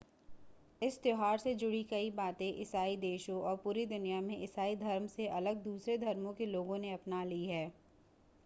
इस त्यौहार से जुड़ी कई बातें ईसाई देशों और पूरी दुनिया में ईसाई धर्म से अलग दूसरे धर्मों के लोगों ने अपना ली हैं